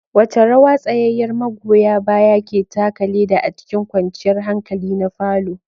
Wace rawa tsayayyar magoya baya ke taka leda a cikin kwanciyar hankali na parlour?